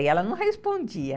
E ela não respondia.